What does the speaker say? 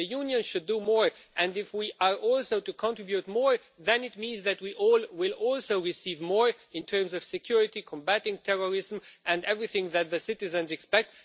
If the Union is to do more and if we are also to contribute more, then it means that we will also receive more in terms of security, combating terrorism and everything that the citizens expect.